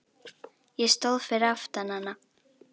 Ég stóð fyrir aftan hana.